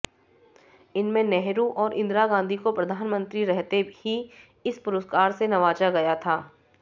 इनमें नेहरू और इंदिरा गांधी को प्रधानमंत्री रहते ही इस पुरस्कार से नवाजा गया था